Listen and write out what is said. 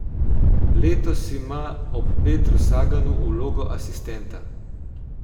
Letos ima ob Petru Saganu vlogo asistenta.